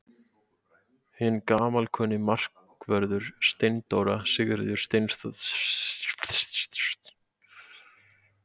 Hinn gamalkunni markvörður Steindóra Sigríður Steinsdóttir hefur einnig ákveðið að vera með liðinu í sumar.